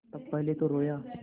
तब पहले तो रोयी